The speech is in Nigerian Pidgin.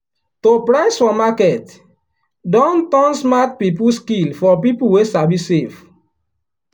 to price for market don turn smart people skill for people wey sabi save.